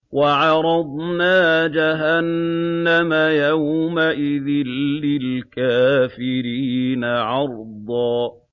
وَعَرَضْنَا جَهَنَّمَ يَوْمَئِذٍ لِّلْكَافِرِينَ عَرْضًا